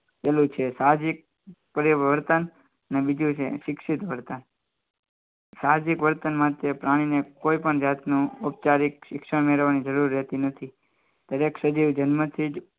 પેલું છે સાજીદ પરિવર્તન અને બીજું છે શિક્ષિત હતા સાંજે વર્તન માટે પ્રાણીને કોઈપણ જાતનું ઓપચારિક શિક્ષણ મેળવવાની જરૂર રહેતી નથી દરેક સજીવ જન્મથી જ